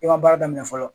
I ma baara daminɛ fɔlɔ